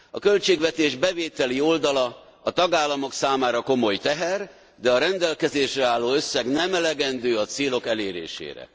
A költségvetés bevételi oldala a tagállamok számára komoly teher, de a rendelkezésre álló összeg nem elegendő a célok elérésére.